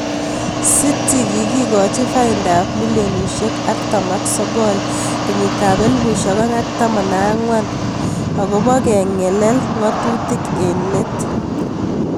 City kikikochi fainda ab milionisiek 49 kenyit ab 2014 akopo kengelel ngatutik eng let.